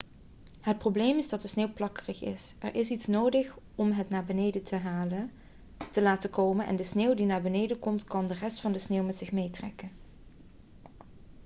het probleem is dat de sneeuw plakkerig is er is iets nodig om het naar beneden te laten komen en sneeuw die naar beneden komt kan de rest van de sneeuw met zich meetrekken